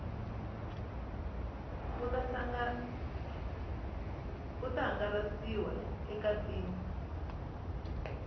wu ta hangalasiwa eka tin